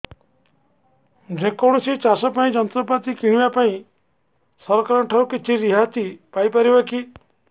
ଯେ କୌଣସି ଚାଷ ଯନ୍ତ୍ରପାତି କିଣିବା ପାଇଁ ସରକାରଙ୍କ ଠାରୁ କିଛି ରିହାତି ପାଇ ପାରିବା କି